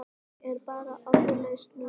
Ég er bara orðlaus núna.